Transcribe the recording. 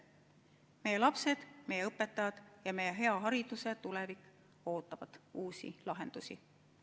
Meie lapsed, meie õpetajad ja meie hea hariduse tulevik ootavad uusi lahendusi.